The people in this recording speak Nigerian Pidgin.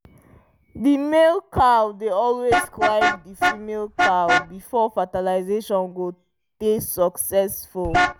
the male cow dey always climb the female cow before fertilazation go dey succesful